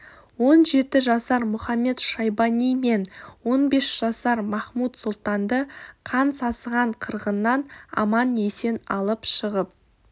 он жеті жасар мұхамед-шайбани мен он бес жасар махмуд-сұлтанды қан сасыған қырғыннан аман-есен алып шығып